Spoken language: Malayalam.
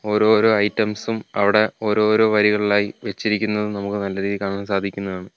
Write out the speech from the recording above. ഓരോരോ ഐറ്റംസും അവിടെ ഓരോരോ വരികളിലായി വെച്ചിരിക്കുന്നതും നമുക്ക് നല്ല രീതിയിൽ കാണാൻ സാധിക്കുന്നതാണ്.